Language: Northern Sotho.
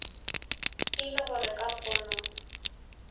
e le gore ka pono